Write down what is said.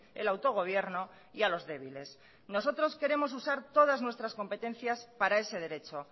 el autogobierno y a los débiles nosotros queremos utilizar todas nuestras competencias para ese derecho